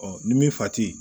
ni min fa ti